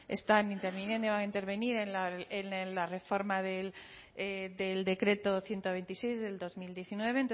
están interviniendo y van a intervenir en la reforma del decreto ciento veintiséis del dos mil diecinueve entonces